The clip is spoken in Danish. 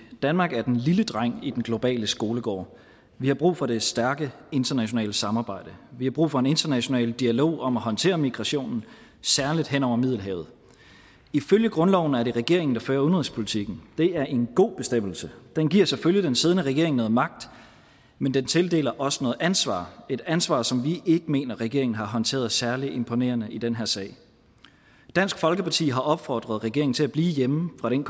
danmark er den lille dreng i den globale skolegård vi har brug for det stærke internationale samarbejde vi har brug for en international dialog om at håndtere migrationen særlig hen over middelhavet ifølge grundloven er det regeringen der fører udenrigspolitikken det er en god bestemmelse den giver selvfølgelig den siddende regering noget magt men den tildeler også noget ansvar et ansvar som vi ikke mener regeringen har håndteret særlig imponerende i den her sag dansk folkeparti har opfordret regeringen til at blive hjemme fra den